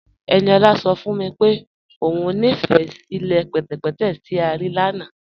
Ẹniọla sọ fún mí pé o nífé ilẹ̀ pẹtẹ̀pẹtẹ̀ tí a rí lána